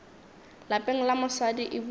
lapeng la mosadi e buše